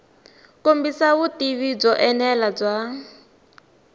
kombisa vutivi byo enela bya